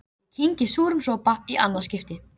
Ég kyngi súrum sopa í annað skipti.